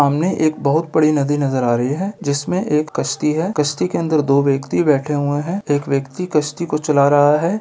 सामने एक बहुत बड़ी नदी नजर आ रही है जिसमे एक कश्ती है कश्ती के अंदर दो व्यक्ति बैठे हुए हैं एक व्यक्ति कश्ती को चला रहा है |